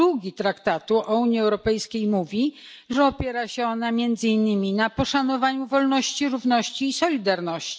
2 Traktatu o Unii Europejskiej mówi, że opiera się ona, między innymi, na poszanowaniu wolności, równości i solidarności.